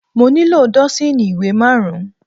Mo nílò dọ́sììnì ìwé má rùn-ún.